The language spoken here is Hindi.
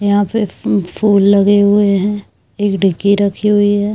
यहां पे मम फुल लगे हुए हैं एक डीगी रखी हुई है।